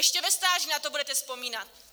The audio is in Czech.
Ještě ve stáří na to budete vzpomínat.